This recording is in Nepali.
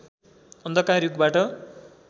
अन्धकार युगबाट